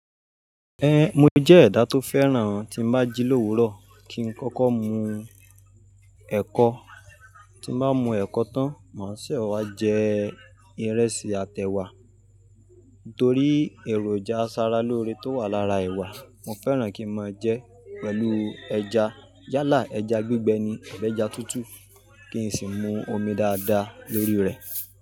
Ẹ̀, mo jẹ́ ẹ̀dá tó fẹ́ràn tí n bá jí l'òwúrọ̀ kí n kọ́kọ́ mu ẹ̀kọ. Tí n bá mu ẹ̀kọ tán, màá sẹ wá jẹ ìrẹsì àtẹ wa. Nítorí èròjà asara lóore tó wà lára ẹ̀wà, mo fẹ́ràn kí ma jẹ ẹ́ pẹ̀lú ẹja. Yálà ẹja gbígbẹ ni, abi ẹja tútù kí n sì mú omi dáadáa lórí rẹ̀